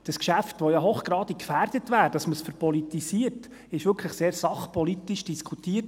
Dieses Geschäft, das ja hochgradig gefährdet wäre, dass man es «verpolitisiert», wurde wirklich sehr sachpolitisch diskutiert.